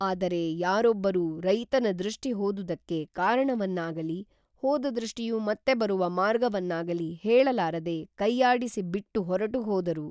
ಆದರೆ ಯಾರೊಬ್ಬರೂ ರೈತನ ದೃಷ್ಟಿ ಹೋದುದಕ್ಕೇ ಕಾರಣವನ್ನಾಗಲೀ ಹೋದ ದೃಷ್ಟಿಯು ಮತ್ತೆ ಬರುವ ಮಾರ್ಗವನ್ನಾಗಲೀ ಹೇಳಲಾರದೆ ಕೈಯಾಡಿಸಿ ಬಿಟ್ಟು ಹೊರಟು ಹೋದರು